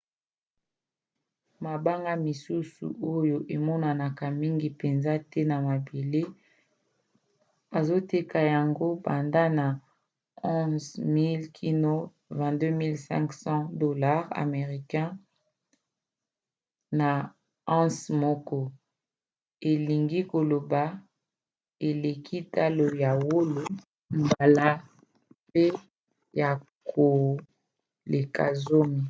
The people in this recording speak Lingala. mabanga misusu oyo emonanaka mingi mpenza te na mabele bazoteka yango banda na 11 000 kino 22 500$ us na once moko elingi koloba eleki talo ya wolo mbala pene ya koleka zomi